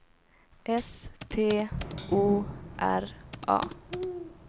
S T O R A